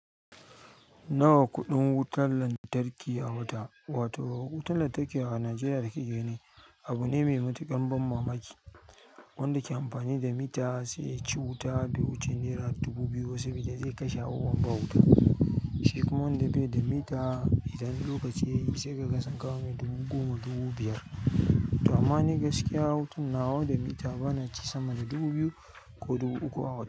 Nawa kuɗin wutan lantarki a wata? Wato wutan lantarki a Najeriya da kake gani abu ne mai matuƙar ban mamaki. Wanda ke amfani da mita sai ya ci wuta be wuce nera dubu biyu saboda zai kashe awon ba wuta. Shi kuma wanda bai da mita, idan lokaci yayi sai kaga sun kawo mai dubu goma, dubu biyar. To amma ni gaskiya, hutun nawa da mita bana ci sama da dubu biyu ko dubu uku a wata.